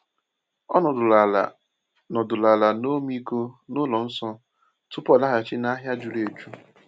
O nọdụrụ ala nọdụrụ ala n’ọmịiko n'ụlọ nsọ tupu ọ laghachi n’ahịa juru eju.